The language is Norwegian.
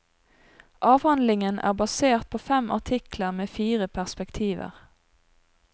Avhandlingen er basert på fem artikler med fire perspektiver.